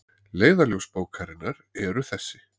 Leiðarljós bókarinnar eru þessi